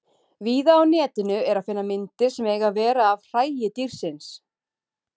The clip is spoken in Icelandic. Víða á Netinu er að finna myndir sem eiga að vera af hræi dýrsins.